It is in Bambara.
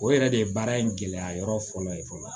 O yɛrɛ de ye baara in gɛlɛya yɔrɔ fɔlɔ ye fɔlɔ